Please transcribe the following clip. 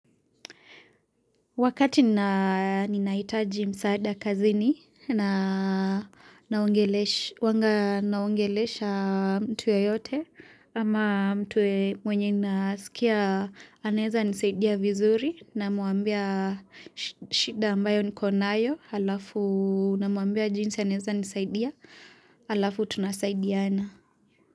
Wakati nina nina hitaji msaada kazini na naongelesha mtu yoyote ama mtu mwenye ninasikia anseza nisaidia vizuri na muambia shida ambayo niko nayo alafu na muambia jinsi anaeza nisaidia alafu tunasaidiana.